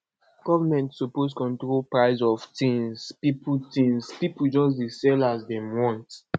government suppose control price of tins pipo tins pipo just dey sell as dem want